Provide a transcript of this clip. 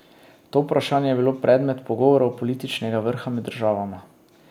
To vprašanje je bilo tudi predmet pogovorov političnega vrha med državama.